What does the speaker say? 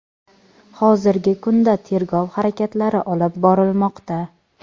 hozirgi kunda tergov harakatlari olib borilmoqda.